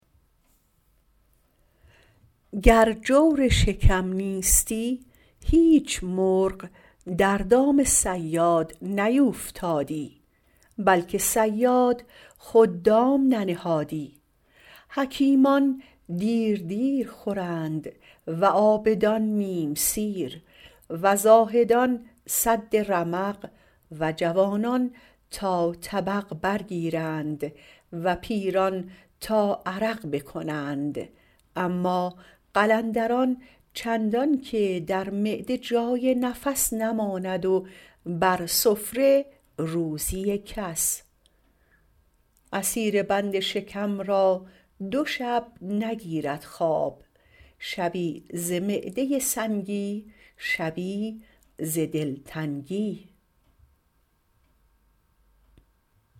گر جور شکم نیستی هیچ مرغ در دام صیاد نیوفتادی بلکه صیاد خود دام ننهادی حکیمان دیر دیر خورند و عابدان نیم سیر و زاهدان سد رمق و جوانان تا طبق برگیرند و پیران تا عرق بکنند اما قلندران چندان که در معده جای نفس نماند و بر سفره روزی کس اسیر بند شکم را دو شب نگیرد خواب شبی ز معده سنگی شبی ز دلتنگی